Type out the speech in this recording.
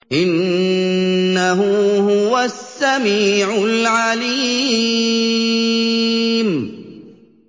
إِنَّهُ هُوَ السَّمِيعُ الْعَلِيمُ